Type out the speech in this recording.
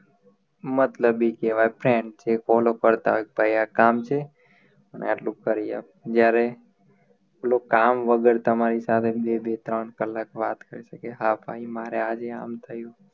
મતલબી કહેવાઈ friend છે call ઊપડતાં કે ભાઈ આ કામ છે અને અટલું કરી આપ જ્યારે પેલું કામ વગર તમારી સાથે બે બે ત્રણ કલાક વાત કરી શકે હા ભાઈ મારે આજે આમ થયું